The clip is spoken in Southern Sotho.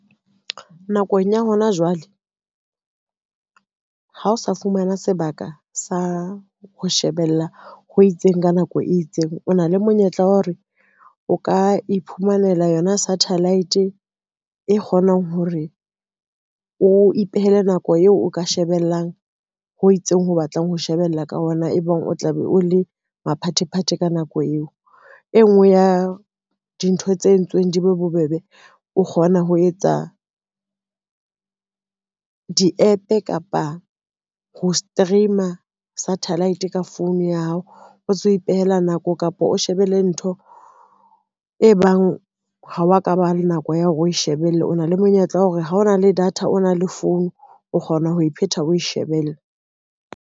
Nakong ya hona jwale, ha o sa fumana sebaka sa ho shebella ho itseng, ka nako e itseng, o na le monyetla wa hore o ka iphumanela yona satellite e kgonang hore o ipehele nako eo o ka shebellang ho itseng ho batlang ho shebella ka ona ebang o tla be o le maphathephathe ka nako eo. E ngwe ya dintho tse entsweng di be bobebe, o kgona ho etsa di-app kapa ho stream-a satellite ka phone ya hao, o tsebe ho ipehela nako kapa o shebelle ntho e bang ha wa ka ba le nako ya hore o shebelle, o na le monyetla wa hore ha o na le data o na le phone o kgona ho e phetha o e shebelle.